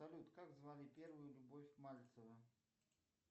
салют как звали первую любовь мальцева